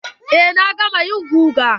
Eh na gama yin guga.